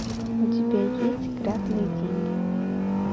у тебя есть грязные деньги